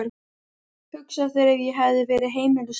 Hugsaðu þér ef ég hefði verið heimilislaus.